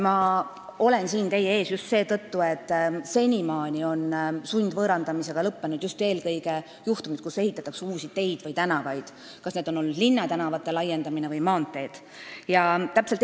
Ma olen siin teie ees just seetõttu, et senimaani on sundvõõrandamisega lõppenud eelkõige juhtumid, kui ehitatakse uusi teid või tänavaid, kas linnatänavate laiendamise või maanteede ehitamise korral.